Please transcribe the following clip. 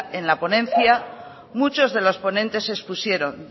en la ponencia muchos de los ponentes expusieron